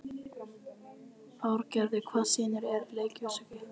Árgeir, hvaða sýningar eru í leikhúsinu á mánudaginn?